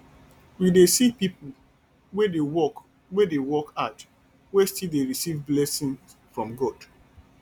we dey see pipo wey dey work wey dey work hard wey still dey receive blessing from god